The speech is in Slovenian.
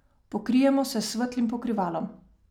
Pokrijemo se s svetlim pokrivalom.